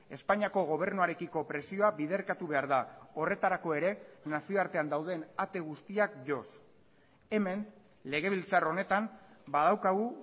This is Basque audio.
espainiako gobernuarekiko presioa biderkatu behar da horretarako ere nazioartean dauden ate guztiak joz hemen legebiltzar honetan badaukagu